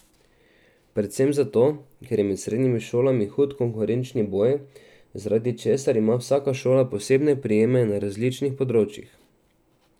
Predvsem zato, ker je med srednjimi šolami hud konkurenčen boj, zaradi česar ima vsaka šola posebne prijeme na različnih področjih.